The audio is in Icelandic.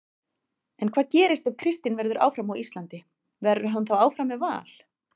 En hvað gerist ef Kristinn verður áfram á Íslandi, verður hann þá áfram með Val?